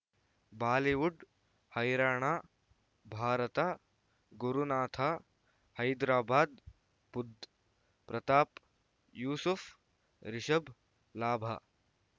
Bollywood ಹೈರಾಣ ಭಾರತ ಗುರುನಾಥ ಹೈದರಾಬಾದ್ ಬುಧ್ ಪ್ರತಾಪ್ ಯೂಸುಫ್ ರಿಷಬ್ ಲಾಭ